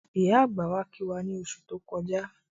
Ìyá àgbà wá kí wá ní oṣù tó kọjá